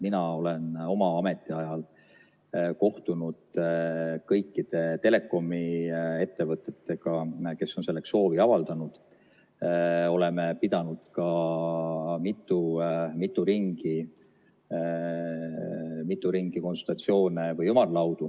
Mina olen oma ametiajal kohtunud kõikide telekomiettevõtetega, kes on selleks soovi avaldanud, oleme pidanud ka mitu ringi konsultatsioone ja ümarlaudu.